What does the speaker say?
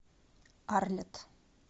арлетт